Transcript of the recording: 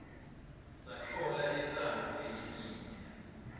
satfola intsandvo yelinyenti